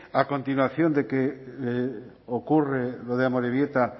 a continuación de lo que ocurre en amorebieta